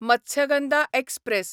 Matsyagandha express